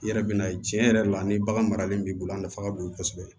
I yɛrɛ bɛ na ye tiɲɛ yɛrɛ la ni bagan maralen b'i bolo a nafa ka bon kosɛbɛ